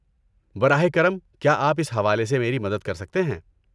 براہ کرم، کیا آپ اس حوالے سے میری مدد کر سکتے ہیں؟